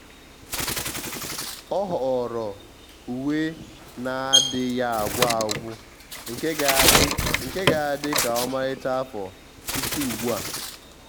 ọ́ họ̀ọ̀rọ̀ uwe nà-adị́ghị́ ágwụ́ ágwụ́ nke ga-adị́ nke ga-adị́ kà ọ́màrị́chá afọ site ugbu a.